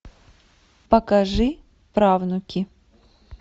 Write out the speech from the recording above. покажи правнуки